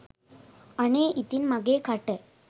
අනේ ඉතින් මගේ කට